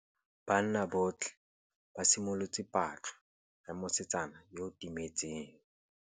Banna botlhê ba simolotse patlô ya mosetsana yo o timetseng.